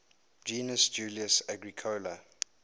gnaeus julius agricola